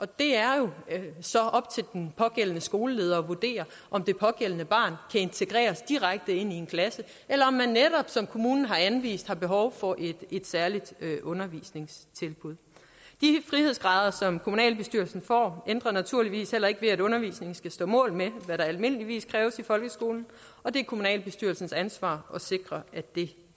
det er jo så op til den pågældende skoleleder at vurdere om det pågældende barn integreres direkte ind i en klasse eller om man netop som kommunen har anvist har behov for et særligt undervisningstilbud de frihedsgrader som kommunalbestyrelsen får ændrer naturligvis heller ikke ved at undervisningen skal stå mål med hvad der almindeligvis kræves i folkeskolen og det er kommunalbestyrelsens ansvar at sikre at det